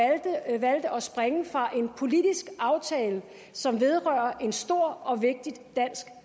og springe fra en politisk aftale som vedrører en stor og vigtig dansk